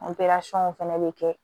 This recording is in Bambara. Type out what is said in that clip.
fɛnɛ bɛ kɛ